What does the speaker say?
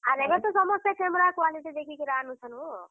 ଆର୍ ଏଭେ ତ ସମସ୍ତେ ସେ camera quality ଏଁ। ଦେଖି କି ଆନୁଛନ୍ ହୋ।